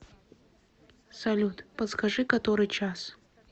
салют подскажи который час